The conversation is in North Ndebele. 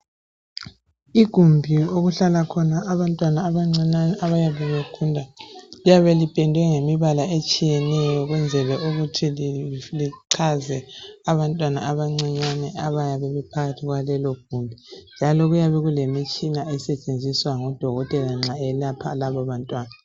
Igumbi okuhlala khona abantwana abancinyane abayabe begula, liyabe lipendwe ngemibala etshiyeneyo ukwenzela ukuthi lichaze abantwana abancinyane abayabe bephakathi kwalelo gumbi njalo kuyabe kulemitshina esetshenziswa ngudokotela nxa elapha labo bantwana.